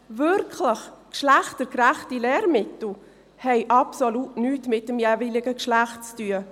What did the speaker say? Wirklich geschlechtergerechte Lehrmittel haben absolut nichts mit dem jeweiligen Geschlecht zu tun.